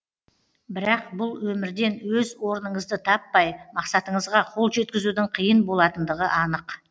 бірақ бұл өмірден өз орыныңызды таппай мақсатыңызға қол жеткізудің қиын болатындығы анық